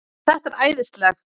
Þetta er æðislegt